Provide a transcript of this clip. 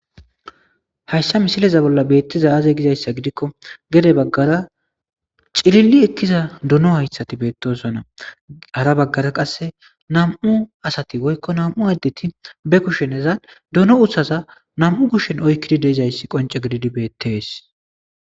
hayssa misileza bolla beettiza aaze gizayssa gidikko gede baggara cilili ekkiza duno hayshati beettosonna hara baggara qasse nam7u asati woykko nam7u addeti be kusheneza duno uthaza nam7u kushshn oykkidi deizayssi qonce gididi beettees